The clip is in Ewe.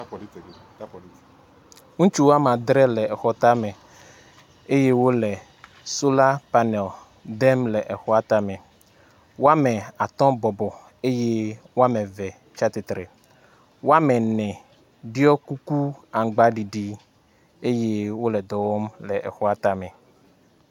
ŋutsu woame adre le exɔ táme eye wóle sola panel dem le exɔa táme woame atɔ bɔbɔ eye woameve la tsiatsitre woamene ɖiɔ kuku aŋgbaɖiɖi eye wóle dɔwɔm le exɔ táme